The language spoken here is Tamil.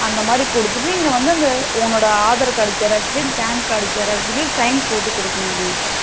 அந்த மாதிரி கொடுத்துட்டு நீ வந்து உன்னோட aadhar card Xerox, PAN card Xerox sign போட்டு கொடுக்கணும் டி.